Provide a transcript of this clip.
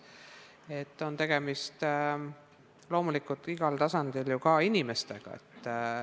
Loomulikult on tegemist igal tasandil ka erinevate inimestega.